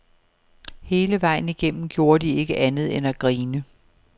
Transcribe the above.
Hele vejen igennem gjorde de ikke andet end at grine.